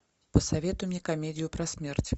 посоветуй мне комедию про смерть